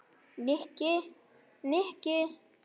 Nikki, Nikki!